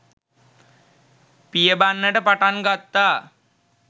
පියඹන්නට පටන් ගත්තා